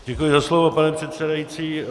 Děkuji za slovo, pane předsedající.